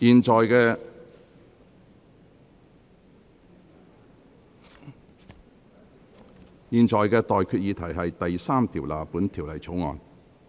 我現在向各位提出的待決議題是：第3條納入本條例草案。